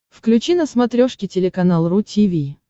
включи на смотрешке телеканал ру ти ви